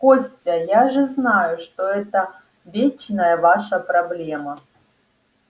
костя я же знаю что это вечная ваша проблема